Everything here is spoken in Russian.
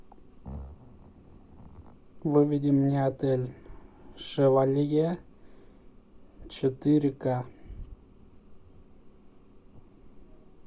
выведи мне отель шевалье четыре ка